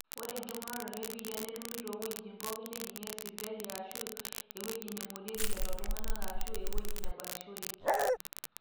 ore enkipimata e biitia netumi toowuejitin pooki neejing'ieki sipitali aashu ewueji neing'orieki lelo tung'anak aashu ewueji nebakishoreki